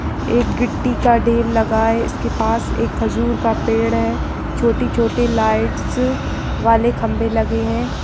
एक गिट्टी का ढेर लगा है उसके पास एक खजूर का पेड़ है छोटी-छोटी लाइट्स वाले खम्भे लगे है।